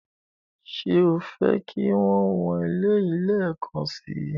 Ṣé o fẹ́ kí o wọn eléyìí lẹ́ẹ̀kan si?